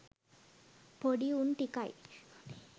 පොඩි උන් ටිකයි